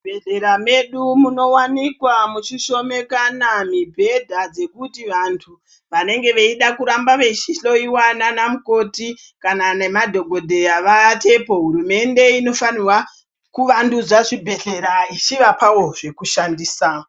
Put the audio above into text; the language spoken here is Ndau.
Muzvibhehlera medu munowanikwa muchishomanika mibhedha yekuti vantu vanenge veida kuhloyiwa nana mukoti kana nemadhokodheya vaatepo. Hurumende inofana kuvandudza zvibhehlera ichubapawo zvekushandisa.